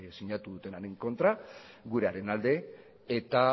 sinatu dutenaren kontra gurearen alde eta